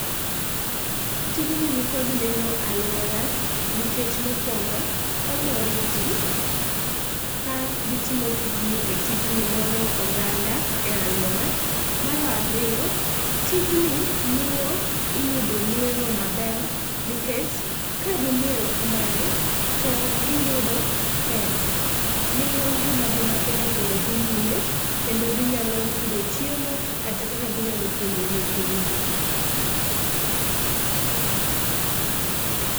Tijni nikod nengo e aluora nikech mokuongo omoro jii ka gitimo tijni to tijni moro oganda e aluora. Mar ariyo tijni miyo iyudo nwengo maber nikech ka gimiel kamae to giyudo pesa miyo ngimagi mapile pile dhi nyime kendo ginyalo yudo chiemo kata kaka ginyalo puonjo nyithindgi